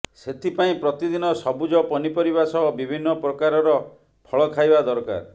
ସେଥିପାଇଁ ପ୍ରତିଦିନ ସବୁଜ ପନି ପରିବା ସହ ବିଭିନ୍ନ ପ୍ରକାରର ଫଳ ଖାଇବା ଦରକାର